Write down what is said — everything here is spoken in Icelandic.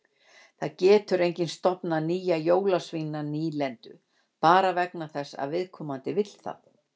Það getur enginn stofnað nýja jólasveinanýlendu bara vegna þess að viðkomandi vill það.